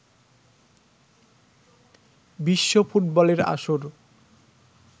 বিশ্ব ফুটবলের আসর